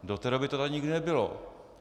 Do té doby to tady nikdy nebylo.